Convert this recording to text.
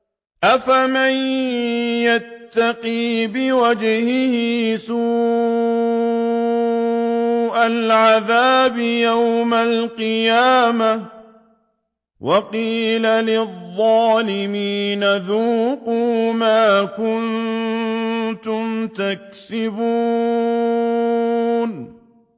أَفَمَن يَتَّقِي بِوَجْهِهِ سُوءَ الْعَذَابِ يَوْمَ الْقِيَامَةِ ۚ وَقِيلَ لِلظَّالِمِينَ ذُوقُوا مَا كُنتُمْ تَكْسِبُونَ